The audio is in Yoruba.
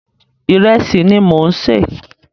Ìrẹsì ni mò ń sè.